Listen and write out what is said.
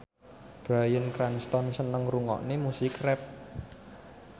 Bryan Cranston seneng ngrungokne musik rap